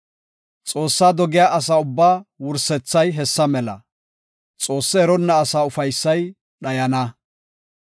Xoossaa dogiya asaa ubbaa wursethay hessa mela; Xoosse eronna asaa ufaysay dhayana.